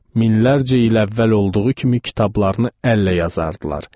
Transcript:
Minlərlə il əvvəl olduğu kimi kitablarını əllə yazardılar.